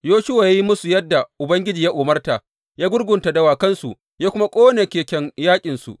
Yoshuwa ya yi musu yadda Ubangiji ya umarta, ya gurgunta dawakansu, ya kuma ƙone keken yaƙinsu.